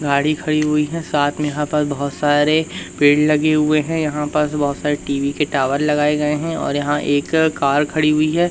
गाड़ी खड़ी हुई है साथ में यहां पर बहुत सारे पेड़ लगे हुए हैं यहां पास बहुत सारे टी_वी के टावर लगाए गए हैं और यहां एक कार खड़ी हुई है।